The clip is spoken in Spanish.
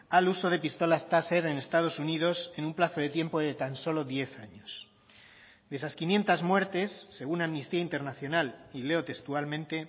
al uso de pistolas taser en estados unidos en un plazo de tiempo de tan solo diez años de esas quinientos muertes según amnistía internacional y leo textualmente